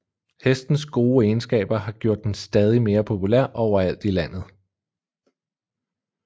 Hestens gode egenskaber har gjort den stadig mere populær overalt i landet